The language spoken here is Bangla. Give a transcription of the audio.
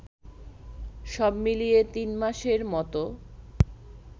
সবমিলিয়ে তিনমাসের মতো